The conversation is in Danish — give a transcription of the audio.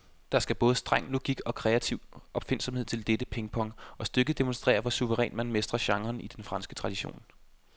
Der skal både streng logik og kreativ opfindsomhed til dette pingpong, og stykket demonstrerer, hvor suverænt man mestrer genren i den franske tradition.